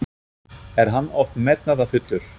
Er hann of metnaðarfullur?